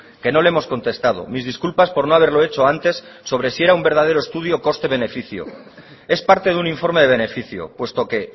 que no le hemos contestado mis disculpas por no haberlo hecho antes sobre si era un verdadero estudio coste beneficio es parte de un informe de beneficio puesto que